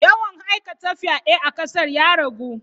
Yawan aikata fyade a kasar ya ragu.